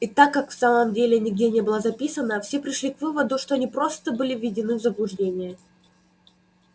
и так как в самом деле нигде не было записано все пришли к выводу что они просто были введены в заблуждение